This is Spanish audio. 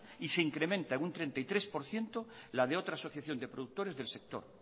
y se incrementa en un treinta y tres por ciento la de otra asociación de productores del sector